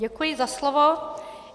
Děkuji za slovo.